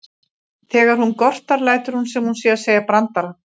Þegar hún gortar lætur hún sem hún sé að segja brandara.